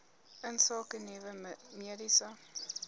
insake nuwe mediese